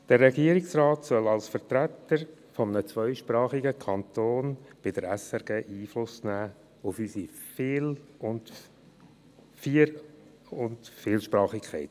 Der Regierungsrat soll als Vertreter eines zweisprachigen Kantons bei der SRG Einfluss nehmen auf unsere Vier- und Vielsprachigkeit.